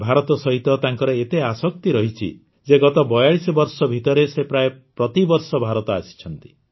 ଭାରତ ସହିତ ତାଙ୍କର ଏତେ ଆସକ୍ତି ରହିଛି ଯେ ଗତ ୪୨ ବର୍ଷ ଭିତରେ ସେ ପ୍ରାୟ ପ୍ରତିବର୍ଷ ଭାରତ ଆସିଛନ୍ତି